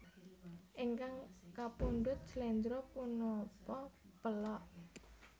Ingkang kapundhut sléndro punapa pélog